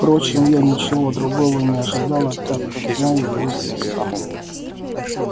впрочем я ничего другого и не ожидала так как знаю его с детства